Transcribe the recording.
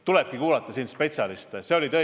Mul tulebki spetsialiste kuulata.